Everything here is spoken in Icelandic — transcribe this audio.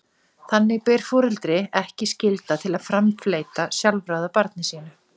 Þannig ber foreldri ekki skylda til að framfleyta sjálfráða barni sínu.